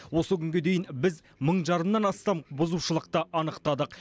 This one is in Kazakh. осы күнге дейін біз мың жарымнан астам бұзушылықты анықтадық